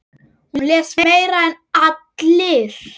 Hún les meira en allir.